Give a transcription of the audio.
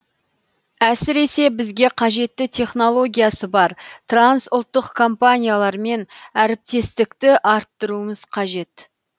әсіресе бізге қажетті технологиясы бар трансұлттық компаниялармен әріптестікті арттыруымыз қажет